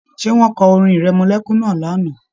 Ṣé wọn kọ orin-ìrẹmọlẹ́kún náà lánàá?